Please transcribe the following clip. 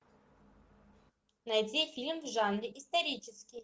найди фильм в жанре исторический